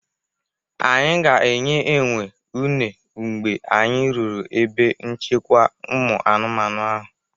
Anyị ga-enye enwe uner mgbe anyị ruru ebe nchekwa ụmụ anụmanụ ahụ.